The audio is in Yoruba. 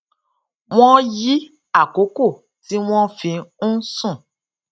wón yí àkókò tí wón fi ń sùn